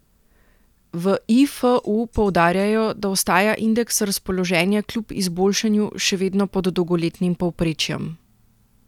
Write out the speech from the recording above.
V Ifu poudarjajo, da ostaja indeks razpoloženja kljub izboljšanju še vedno pod dolgoletnim povprečjem.